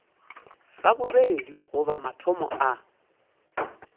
sa bobedi goba motho a